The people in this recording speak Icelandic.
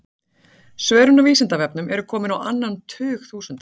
Svörin á Vísindavefnum eru komin á annan tug þúsunda.